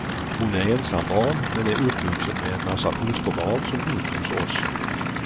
Hon är ensambarn men är uppvuxen med en massa fosterbarn som bott hos oss.